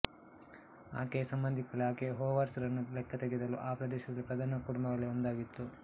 ಆಕೆಯ ಸಂಬಂಧಿಕರಲ್ಲಿ ಆಕೆಯು ಹೊವಾರ್ಡ್ಸ್ ರನ್ನು ಲೆಕ್ಕತೆಗೆದಳು ಆ ಪ್ರದೇಶದಲ್ಲಿ ಪ್ರಧಾನ ಕುಟುಂಬಗಳಲ್ಲಿ ಒಂದಾಗಿತ್ತು